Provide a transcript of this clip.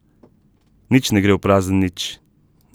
Nič ne gre v prazen nič.